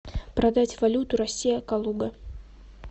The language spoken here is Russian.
продать валюту россия калуга